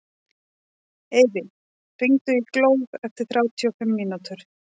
Eyfi, hringdu í Glóð eftir þrjátíu og fimm mínútur.